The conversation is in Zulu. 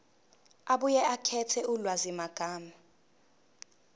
abuye akhethe ulwazimagama